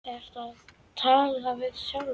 Ertu að tala við sjálfa þig?